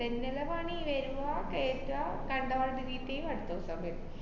ഇതെന്നല്ലേ പണി. വെരുവാ, കേറ്റാ കണ്ടവാത് delete എയ്യും അടുത്തെസം വെരും.